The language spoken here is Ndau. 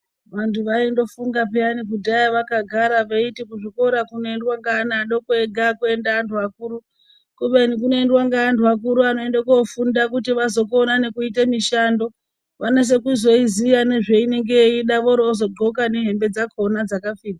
Vantu vaindofunga peyana kudhaya vakagara veiti kuchikoro kunoendwa ngeana adoko ega akuendwi ngeantu akuru, kubeni kunoendwe ngeantu akuru anoende kofunda kuti vazokona nekuite mishando vanase kuzoiziya nezveinenge yeida vorozodxoka nehembe dzacho dzakafita.